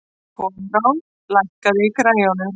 Koðrán, lækkaðu í græjunum.